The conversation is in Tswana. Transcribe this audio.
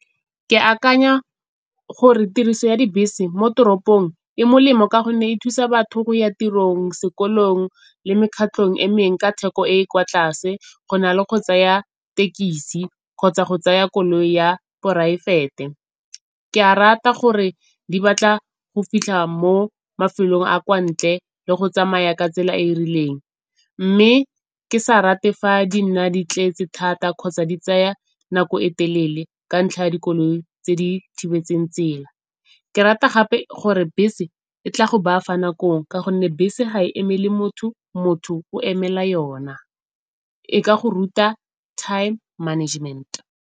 Ke akanya gore tiriso ya dibese mo toropong e molemo ka gonne e thusa batho go ya tirong, sekolong le mekgatlhong e mengwe ka theko e e kwa tlase, go na le go tsaya thekisi kgotsa go tsaya koloi ya poraefete. Ke a rata gore di batla go fitlha mo mafelong a kwa ntle le go tsamaya ka tsela e e rileng, mme ke sa rate fa di nna di tletse thata kgotsa di tsaya nako e telele ka ntlha ya dikoloi tse di thibetseng tsela. Ke rata gape gore bese e tla go baya fa nakong ka gonne bese ga e emele motho, motho o emela yona e ka go ruta time management.